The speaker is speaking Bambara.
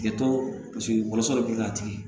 Kɛtɔ paseke wɔlɔsɔ bɛ k'a tigi ye